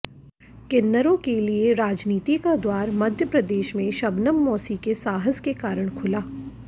किन्नरों के लिए राजनीति का द्वार मध्यप्रदेश में शबनम मौसी के साहस के कारण खुला